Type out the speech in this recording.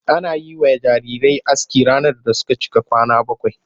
Ana yi wa jarirai aski ranar da suka cika kwana bakwai.